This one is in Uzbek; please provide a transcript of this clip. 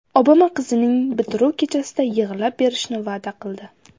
Obama qizining bitiruv kechasida yig‘lab berishni va’da qildi.